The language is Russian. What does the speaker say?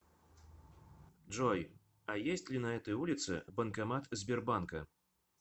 джой а есть ли на этой улице банкомат сбербанка